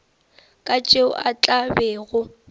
ka tšeo a tla bego